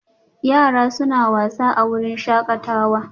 Yara suna wasa a wurin shakatawa